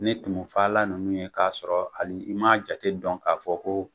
Ni tumufala ninnu ye k'a sɔrɔ hali, i ma a jate dɔn k'a fɔ ko